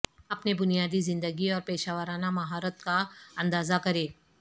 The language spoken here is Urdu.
اپنے بنیادی زندگی اور پیشہ ورانہ مہارت کا اندازہ کریں